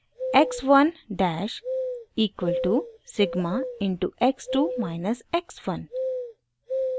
x 1 dash equal to sigma into x 2 minus x 1